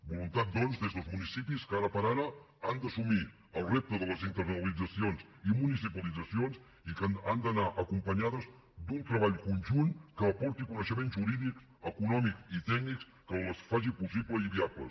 voluntat doncs des dels municipis que ara per ara han d’assumir el repte de les internalitzacions i municipalitzacions i que han d’anar acompanyades d’un treball conjunt que aporti coneixement jurídic econòmic i tècnic que les faci possibles i viables